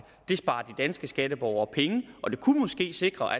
det sparer de danske skatteborgere penge og det kunne måske sikre